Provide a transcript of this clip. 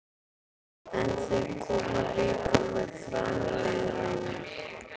En þeir koma líka með framliðnum.